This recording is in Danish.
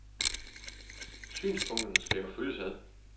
Synspunkterne skal jo følges ad.